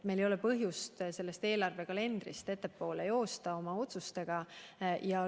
Meil ei ole põhjust sellest eelarvekalendrist oma otsustega ette joosta.